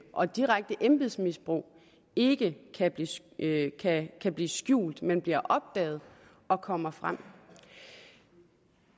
og direkte embedsmisbrug ikke ikke kan blive skjult men blive opdaget og komme frem